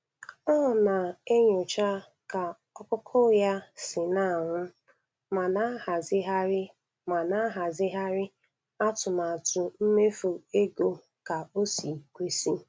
Ọ na-enyocha ka ọkụkọ ya si na-anwụ ma na-ahazigharị ma na-ahazigharị atụmatụ mmefu ego ya ka o si kwesị.